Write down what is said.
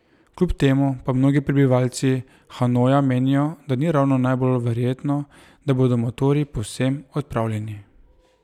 Kljub temu pa mnogi prebivalci Hanoja menijo, da ni ravno najbolj verjetno, da bodo motorji povsem odpravljeni.